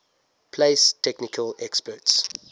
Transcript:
place technical experts